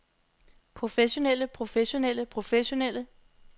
professionelle professionelle professionelle